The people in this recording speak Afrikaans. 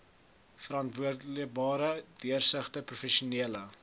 verantwoordbare deursigtige professionele